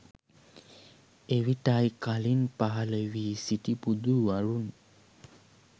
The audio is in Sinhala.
එවිටයි කලින් පහළ වී සිටි බුදුවරුන්